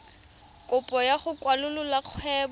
kopo ya go kwalolola kgwebo